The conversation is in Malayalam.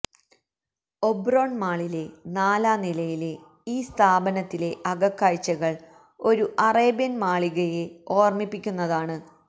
ഒബ്റോൺ മാളിലെ നാലാം നിലയിലെ ഈ സ്ഥാപനത്തിലെ അകക്കാഴ്ചകൾ ഒരു അറേബ്യൻ മാളികയെ ഓർമിപ്പിക്കുന്നതാണ്